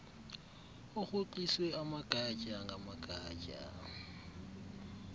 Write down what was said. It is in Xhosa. urhoxiswe amagatya ngamagatya